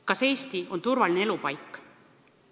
Kas Eesti on turvaline elupaik?